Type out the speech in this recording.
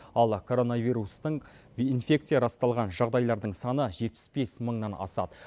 ал коронавирустың инфекция расталған жағыдайлардың саны жетпіс бес мыңнан асады